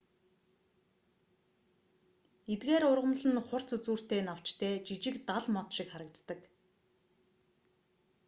эдгээр ургамал нь хурц үзүүртэй навчтай жижиг дал мод шиг харагддаг